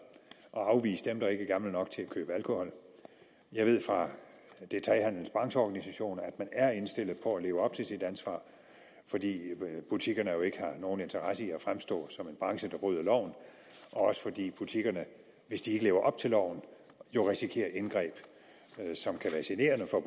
og afvise dem der ikke er gamle nok til at købe alkohol jeg ved fra detailhandelens brancheorganisation at man er indstillet på at leve op til sit ansvar fordi butikkerne jo ikke har nogen interesse i at fremstå som en branche der bryder loven også fordi butikkerne hvis de ikke lever op til loven jo risikerer indgreb som kan være generende for